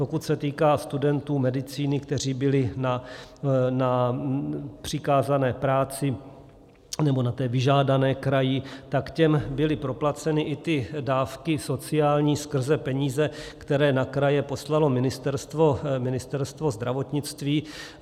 Pokud se týká studentů medicíny, kteří byli na přikázané práci, nebo na té vyžádané kraji, tak těm byly proplaceny i ty dávky sociální skrze peníze, které na kraje poslalo Ministerstvo zdravotnictví.